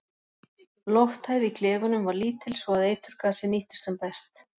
Lofthæð í klefunum var lítil svo að eiturgasið nýttist sem best.